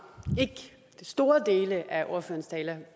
store dele af ordførerens tale